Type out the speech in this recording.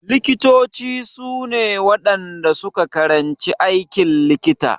Likitoci su ne waɗanda su ka karanci aikin likita.